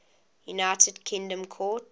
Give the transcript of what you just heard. united kingdom court